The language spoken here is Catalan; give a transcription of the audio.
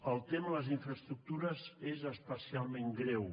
el tema de les infraestructures és especialment greu